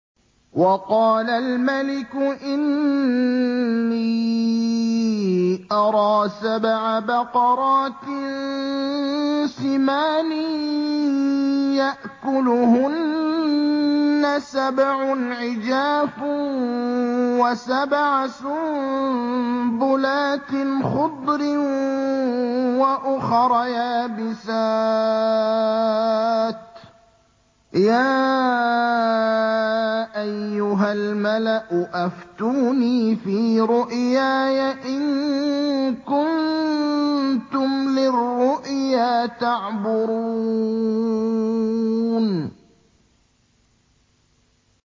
وَقَالَ الْمَلِكُ إِنِّي أَرَىٰ سَبْعَ بَقَرَاتٍ سِمَانٍ يَأْكُلُهُنَّ سَبْعٌ عِجَافٌ وَسَبْعَ سُنبُلَاتٍ خُضْرٍ وَأُخَرَ يَابِسَاتٍ ۖ يَا أَيُّهَا الْمَلَأُ أَفْتُونِي فِي رُؤْيَايَ إِن كُنتُمْ لِلرُّؤْيَا تَعْبُرُونَ